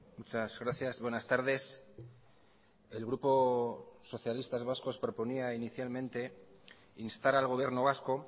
muchas gracias buenas tardes el grupo socialistas vascos proponía inicialmente instar al gobierno vasco